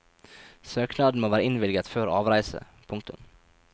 Søknaden må være innvilget før avreise. punktum